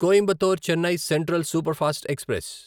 Coimbatore Chennai central superfast express